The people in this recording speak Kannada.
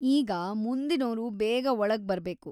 ಈಗ ಮುಂದಿನೋರು ಬೇಗ ಒಳಗ್ಬರ್ಬೇಕು!